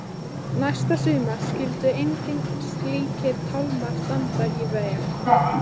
Næsta sumar skyldu engir slíkir tálmar standa í vegi.